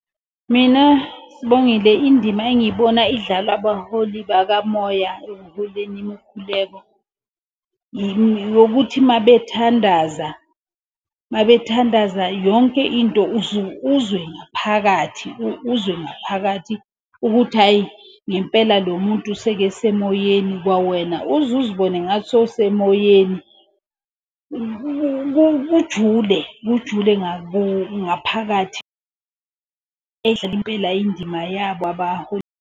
Mina Sibongile indima engiyibona idlalwa abaholi bakamoya ekuholeni imikhuleko. Eyokuthi uma bethandaza, uma bethandaza yonke into uzwe ngaphakathi, uzwe ngaphakathi ukuthi hhayi ngempela lo muntu sekesemoyeni kwawena uze uzibone ngathi sewusemoyeni. Kujule kujule ngaphakathi .